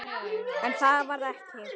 En það varð ekki.